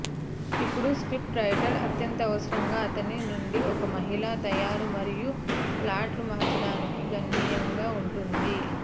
ఇప్పుడు script writer అత్యవసరంగా అతని నుండి ఒక మహిళ తయారు మరియు ప్లాట్లు మార్చడానికి గణనీయంగా ఉంటుంది